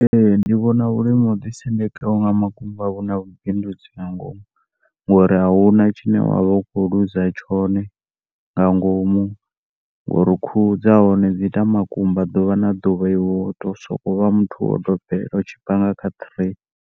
Ee, ndi vhona uri na uḓi sendeka nga makumba huna vhu bindudzi nga ngomu ngori ahuna tshine wa vha u kho luza tshone nga ngomu ngori khuhu dza hone dzi ita makumba ḓuvha na ḓuvha iwe uto soko vha muthu wa u dobela u tshi panga kha tray.